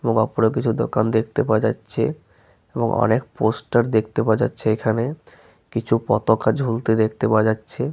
এবং ওপরে কিছু দোকান দেখতে পাওয়া যাচ্ছে এবং অনেক পোস্টার দেখতে পাওয়া যাচ্ছে এখানে । কিছু পতকা ঝুলতে দেখতে পাওয়া যাচ্ছে ।